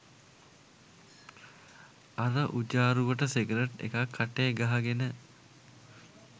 අර උජාරුවට සිගරට් එකක් කටේ ගහගෙන